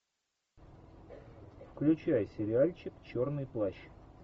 включай сериальчик черный плащ